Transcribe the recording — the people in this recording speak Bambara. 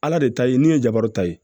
Ala de ta ye min ye jabaru ta ye